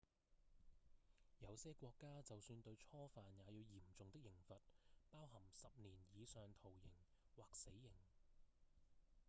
有些國家就算對初犯也有嚴重的刑罰包含10年以上徒刑或死刑